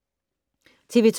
TV 2